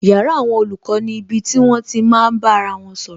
Yàrá àwọn olùkọ́ ni ibi tí wón ti máa bá ara wọn sọ̀rọ̀